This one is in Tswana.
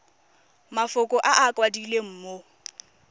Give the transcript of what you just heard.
mafoko a a kwadilweng mo